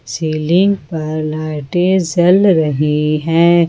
Ceiling पर लाइटें जल रही हैं।